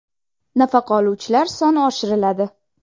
Nafaqa oluvchilar soni oshiriladi.